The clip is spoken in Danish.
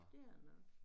Dér nå